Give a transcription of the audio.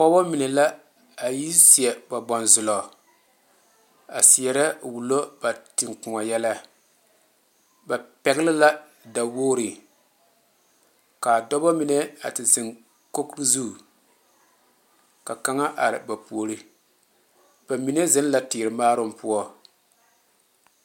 Pɔgeba mine la a yi seɛ ba bonzɔgle a seɛrɛ wulo ba teŋa kõɔ yɛllɛ ba pegle la dawogri kaa dɔɔba mine a ti zeŋ kogi zu ka kaŋa are ba puori ba mine zeŋ la teere maaroŋ poɔ.